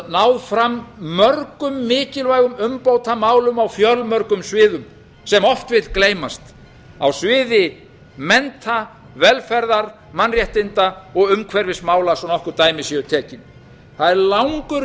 náð fram mörgum mikilvægum umbótamálum á fjölmörgum sviðum sem oft vill gleymast á sviði mennta velferðar mannréttinda og umhverfismála svo nokkur ætli séu tekin það er langur